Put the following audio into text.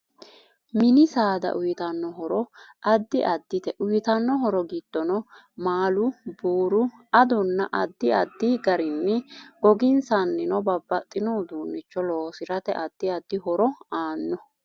Mini saada uyiitano horo addi addite uyiitanno horo giddonno maalu, buuru, adonna addi addi garinni goginsanino babbaxino uduunicho loosirat addi addi hoor aano